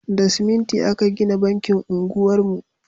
Da siminti aka gina bankin unguwar mu